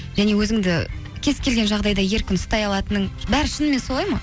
және өзіңді кез келген жағдайда еркін ұстай алатының бәрі шынымен солай ма